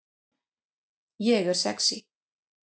Ég er sexý